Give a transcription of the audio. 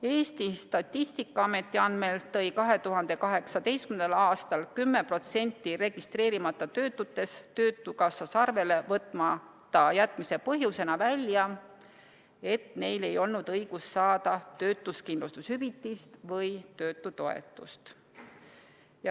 Eesti Statistikaameti andmetel tõi 2018. aastal 10% registreerimata töötutest töötukassas arvele võtmata jätmise põhjusena välja, et neil ei olnud õigust saada töötuskindlustushüvitist või töötutoetust.